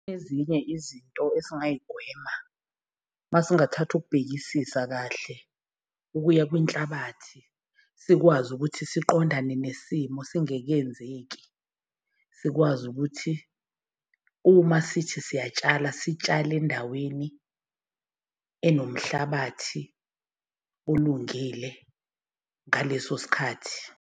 Ezinye izinto esingayigwema masingathatha ukubhekisisa kahle ukuya kwenhlabathi sikwazi ukuthi siqondane nesimo singekenzeki. Sikwazi ukuthi uma sithi siyatsala sitshale endaweni enomhlabathi olungile ngaleso sikhathi.